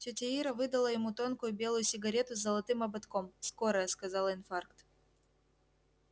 тётя ира выдала ему тонкую белую сигарету с золотым ободком скорая сказала инфаркт